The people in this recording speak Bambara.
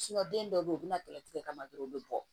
den dɔw be yen u bi na tigɛ tigɛ tigɛ kama dɔrɔn u be bɔ